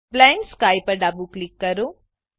blend sky પર ડાબું click કરો